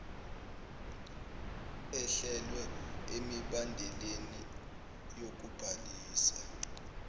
ehlelwe emibandeleni yokubhalisa